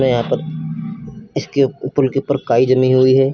यहां पर इसके पुल के ऊपर काई जमी हुई है।